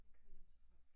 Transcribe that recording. Jeg kører hjem til folk